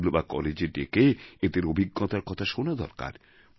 school বা কলেজে ডেকে এঁদের অভিজ্ঞতার কথা শোনা দরকার